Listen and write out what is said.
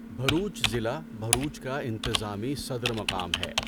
بھروچ ضلع بھروچ کا انتظامی صدر مقام ہے۔